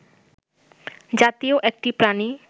জাতীয় একটি প্রাণী